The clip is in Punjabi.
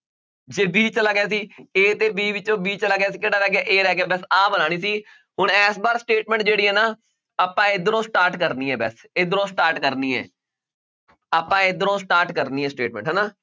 ਜੇ b ਚਲਾ ਗਿਆ ਸੀ a ਤੇ b ਵਿੱਚੋਂ b ਚਲਾ ਗਿਆ ਸੀ ਕਿਹੜਾ ਰਹਿ ਗਿਆ a ਰਹਿ ਗਿਆ ਬਸ ਆਹ ਬਣਾਉਣੀ ਸੀ ਹੁਣ ਇਸ ਵਾਰ statement ਜਿਹੜੀ ਹੈ ਨਾ ਆਪਾਂ ਇੱਧਰੋਂ start ਕਰਨੀ ਹੈ ਬਸ, ਇੱਧਰੋਂ start ਕਰਨੀ ਹੈ ਆਪਾਂ ਇੱਧਰੋਂ start ਕਰਨੀ ਹੈ statement ਹਨਾ